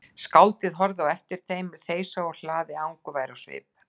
Skáldið horfði á eftir þeim þeysa úr hlaði angurvær á svip.